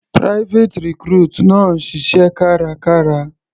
Private recruit náà ń ṣiṣẹ́ kárakára.